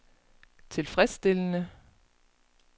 tilfredsstillende